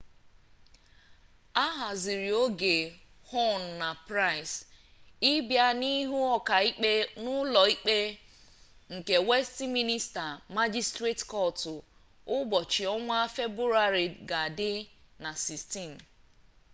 ahazirioge huhne na pryce ibia n'ihu oka ikpe n'ulo ikpe nke westiminster magistrates court ubochi onwa februari ga di na 16